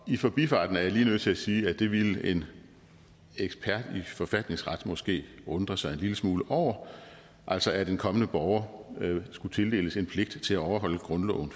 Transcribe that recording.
i forbifarten er jeg lige nødt til at sige at det ville en ekspert i forfatningsret måske undre sig en lille smule over altså at en kommende borger skulle tildeles en pligt til at overholde grundloven